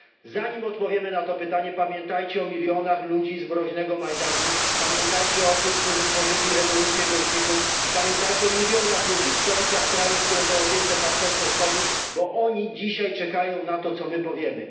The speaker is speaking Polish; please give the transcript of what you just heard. Zanim odpowiemy na to pytanie, pamiętajmy o milionach ludzi z mroźnego Majdanu, pamiętajmy o tych, którzy tworzyli rewolucję goździków i pamiętajmy o milionach ludzi w stolicach krajów, które są objęte Partnerstwem Wschodnim, bo oni dzisiaj czekają na to, co powiemy.